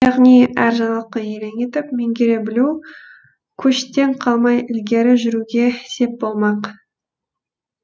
яғни әр жаңалыққа елең етіп меңгере білу көштен қалмай ілгері жүруге сеп болмақ